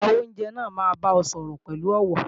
Agbàwo-óunjẹ náà máa bá ọ sọ̀rọ̀ pẹ̀lú ọ̀wọ̀